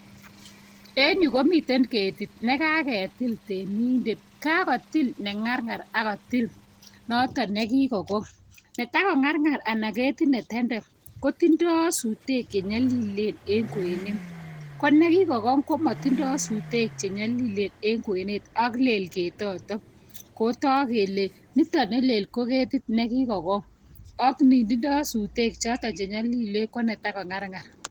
En yu komiten keetit, nekakotil temindet, kakotil nengarngar ak notok nekikokong. Netakongarngar anan ketit netenden kotindoi sutek Che nyolileen en kwenet, konekikokong komotindoo sutek Che nyolilleen en kwenet ak leel ketotok. Kotog kele nitok neleel ko keetit nekikokong ak nindoo sutek chotok chenyolileen konetakongarngar.